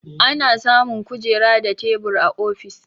Ana samun kujera da tebur a ofis.